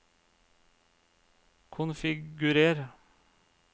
konfigurer